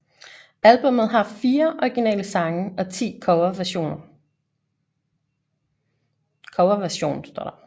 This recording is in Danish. Albummet har fire originale sange og 10 coverversion